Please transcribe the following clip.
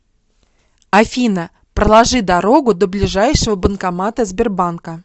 афина проложи дорогу до ближайшего банкомата сбербанка